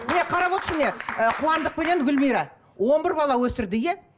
міне қарап отырсың міне ы қуандықпенен гүлмира он бір бал өсірді иә